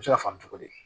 U bɛ se ka faamu cogo di